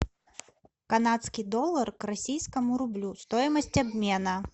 канадский доллар к российскому рублю стоимость обмена